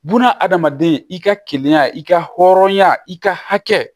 Buna adamaden i ka keleya i ka hɔrɔnya i ka hakɛ